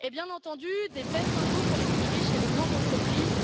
Et bien entendu des baisses d'impôts pour les plus riches et les grandes entreprises.